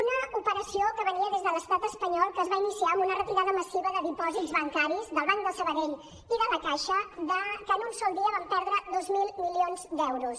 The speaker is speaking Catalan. una operació que venia des de l’estat espanyol que es va iniciar amb una retirada massiva de dipòsits bancaris del banc de sabadell i de la caixa que en un sol dia van perdre dos mil milions d’euros